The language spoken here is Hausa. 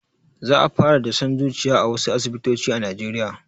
Za a fara dashen zuciya a wasu asibitoci a najeriya